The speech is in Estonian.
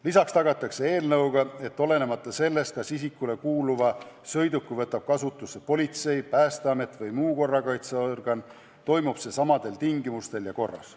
Lisaks tagatakse, et olenemata sellest, kas isikule kuuluva sõiduki võtab kasutusse politsei, Päästeamet või muu korrakaitseorgan, toimub see samadel tingimustel ja samas korras.